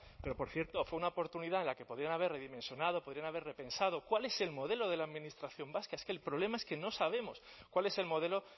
pero por cierto fue una oportunidad en la que podían haber mencionado podían haber repensado cuál es el modelo de la administración vasca es que el problema es que no sabemos cuál es el modelo